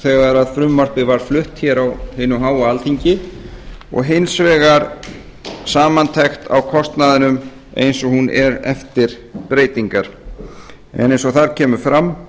þegar frumvarpið var flutt hér á hinu háa alþingi og hins vegar samantekt á kostnaðinum eins hún er eftir breytingar eins og þar kemur fram